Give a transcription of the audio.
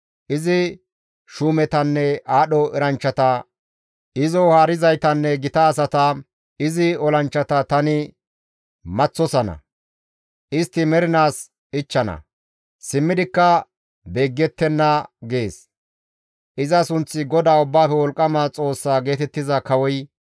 Izi shuumetanne aadho eranchchata izo haarizaytanne gita asata, izi olanchchata tani maththosana; istti mernaas ichchana; simmidikka beeggettenna» gees iza sunththi GODAA Ubbaafe Wolqqama Xoossaa geetettiza kawoy.